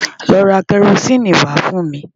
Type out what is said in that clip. Lọ ra kẹrosíìnì wá fún mi!